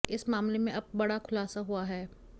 इस मामले में अब बड़ा खुलासा हुआ है